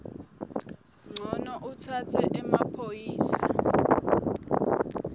ncono utsatse emaphoyisa